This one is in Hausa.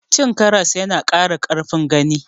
Cin karas ya na ƙara ƙarfin gani